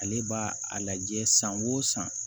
Ale b'a a lajɛ san o san